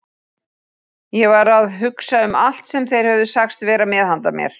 Ég var að hugsa um allt sem þeir höfðu sagst vera með handa mér.